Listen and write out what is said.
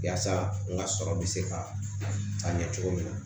Yaasa n ka sɔrɔ bɛ se ka ɲɛ cogo min na